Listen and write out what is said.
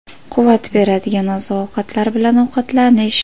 Quvvat beradigan oziq-ovqatlar bilan ovqatlanish.